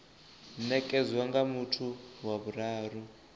nekedzwa nga muthu wa vhuraru